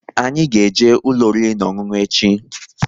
Anyị ga-eje ụlọ oriri na ọṅụṅụ echi!